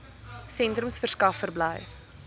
sentrums verskaf verblyf